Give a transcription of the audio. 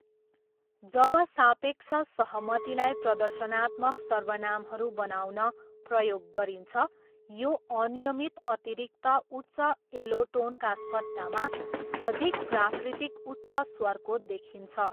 जब सापेक्ष सहमतिलाई प्रदर्शनात्मक सर्वनामहरू बनाउन प्रयोग गरिन्छ यो अनियमित अतिरिक्त उच्च एलोटोनका सट्टामा अधिक प्राकृतिक उच्च स्वरको देखिन्छ।